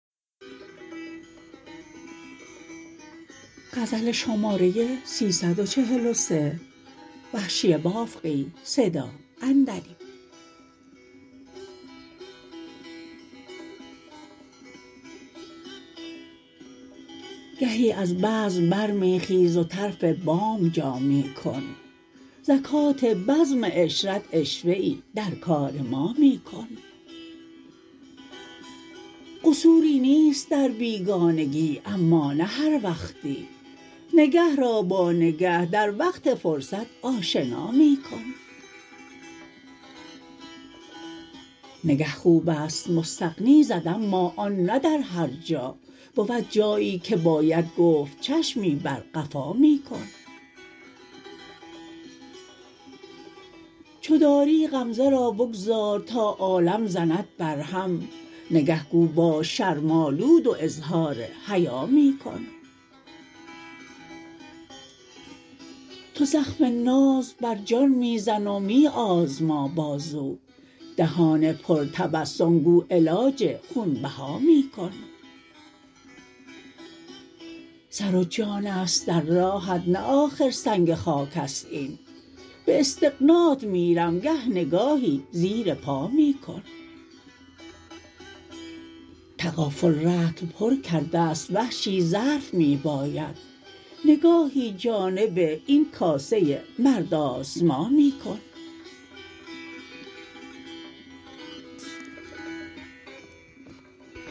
گهی از بزم بر می خیز و طرف بام جا می کن زکات بزم عشرت عشوه ای در کار ما می کن قصوری نیست در بیگانگی اما نه هر وقتی نگه را با نگه در وقت فرصت آشنا می کن نگه خوبست مستغنی زد اما آن نه در هر جا بود جایی که باید گفت چشمی بر قفا می کن چو داری غمزه را بگذار تا عالم زند بر هم نگه گو باش شرم آلود و اظهار حیا می کن تو زخم ناز بر جان میزن و می آزما بازو دهان پر تبسم گو علاج خونبها می کن سر و جانست در راهت نه آخر سنگ خاکست این به استغنات میرم گه نگاهی زیر پا می کن تغافل رطل پر کرده ست وحشی ظرف می باید نگاهی جانب این کاسه مرد آزما می کن